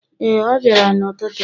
Ee, ọ bịara n’ụtụtụ.